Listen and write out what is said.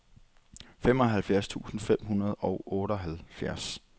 femoghalvtreds tusind fem hundrede og otteoghalvfjerds